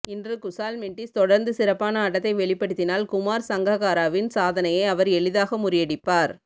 இன்று குஷால் மெண்டிஸ் தொடர்ந்து சிறப்பான ஆட்டத்தை வெளிப்படுத்தினால் குமார் சங்கக்காராவின் சாதனையை அவர் எளிதாக முறியடிப்பார்